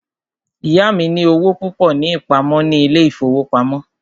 Ìyá mí ní owó púpọ ní ìpamọ́ ní ilé ìfọwọ́pamo.